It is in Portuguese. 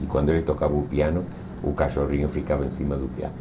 E quando ele tocava o piano, o cachorrinho ficava em cima do piano.